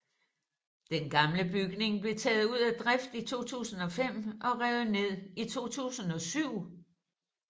Den gamle bygning blev taget ud af drift i 2005 og revet ned i 2007